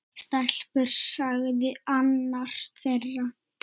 Stelpur sagði annar þeirra.